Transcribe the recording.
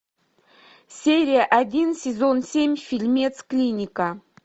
серия один сезон семь фильмец клиника